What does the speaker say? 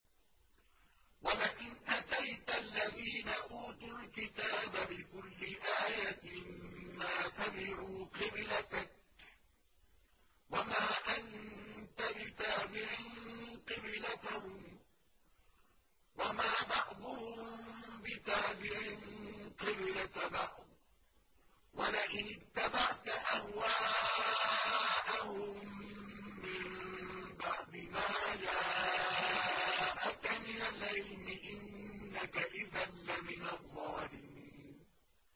وَلَئِنْ أَتَيْتَ الَّذِينَ أُوتُوا الْكِتَابَ بِكُلِّ آيَةٍ مَّا تَبِعُوا قِبْلَتَكَ ۚ وَمَا أَنتَ بِتَابِعٍ قِبْلَتَهُمْ ۚ وَمَا بَعْضُهُم بِتَابِعٍ قِبْلَةَ بَعْضٍ ۚ وَلَئِنِ اتَّبَعْتَ أَهْوَاءَهُم مِّن بَعْدِ مَا جَاءَكَ مِنَ الْعِلْمِ ۙ إِنَّكَ إِذًا لَّمِنَ الظَّالِمِينَ